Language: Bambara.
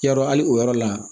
Yarɔ hali o yɔrɔ la